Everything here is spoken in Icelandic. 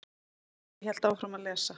Ég hélt áfram að lesa.